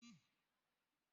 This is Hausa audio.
Cikin na ki watan shi nawa?